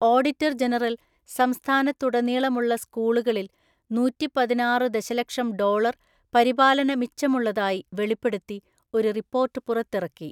Auditor general സംസ്ഥാനത്തുടനീളമുള്ള സ്കൂളുകളിൽ നൂറ്റിപ്പതിനാറു ദശലക്ഷം ഡോളർ പരിപാലന മിച്ചമുള്ളതായി വെളിപ്പെടുത്തി ഒരു റിപ്പോർട്ട് പുറത്തിറക്കി.